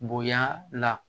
Bonya la